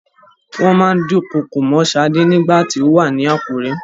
Wọ́n máa ń dúnkokò mọ́ Sade ní ìgbà tí ó wà ní Àkúré.